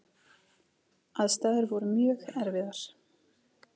Aðstæður voru mjög erfiðar.